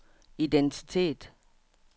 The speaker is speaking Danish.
identitet